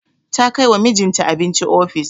Ta kai wa mijinta abinci ofis.